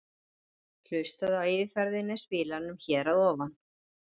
Hlustaðu á yfirferðina í spilaranum hér að ofan.